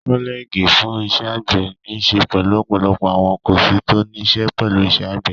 Kọ́lẹ́ẹ́gì fún iṣẹ́ àgbẹ̀ níí ṣe pẹ̀lú ọ̀pọ̀lọpọ̀ àwọn kọ́ọ̀sì tó níí ṣe pẹ̀lú iṣẹ́ àgbè.